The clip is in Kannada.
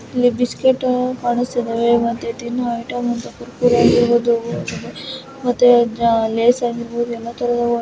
ಇಲ್ಲಿ ಬಿಸ್ಕತ್ ಕಾಣುಸ್ತಿದೆ ಮತ್ತೆ ತಿನ್ನುವ ಐಟಂಸ್ ಕೂಡ ಕುರ್ಕುರೆ ಆಗಿರ್ಬಹುಡ್ ಮತ್ತೆ ಲಯ್ಸ್ ಆಗಿರ್ಬಹುದು ಎಲ್ಲಾ ತರದ.